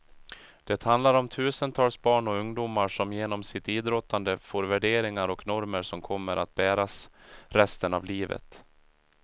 Det handlar om tusentals barn och ungdomar som genom sitt idrottande får värderingar och normer som kommer att bäras resten av livet.